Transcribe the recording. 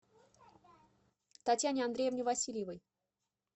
татьяне андреевне васильевой